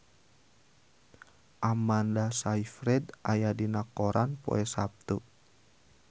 Amanda Sayfried aya dina koran poe Saptu